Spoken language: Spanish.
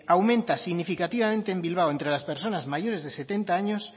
aumenta significativamente en bilbao entre las personas mayores de setenta años